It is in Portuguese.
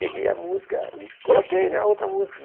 Peguei a música e coloquei na outra música.